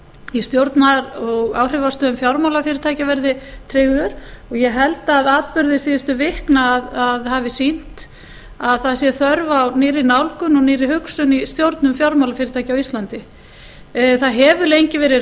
í stjórnar og áhrifastöðum fjármálafyrirtækja verði tryggður og ég held að atburðir síðustu vikna hafi sýnt að það sé þörf á nýrri nálgun og nýrri hugsun í stjórnun fjármálafyrirtækja á íslandi það hefur lengi verið